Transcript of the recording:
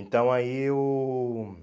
Então, aí, eu